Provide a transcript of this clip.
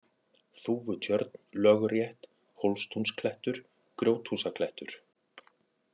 Þúfutjörn, Lögrétt, Hólstúnsklettur, Grjóthúsaklettur